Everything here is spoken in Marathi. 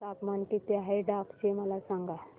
तापमान किती आहे डांग चे मला सांगा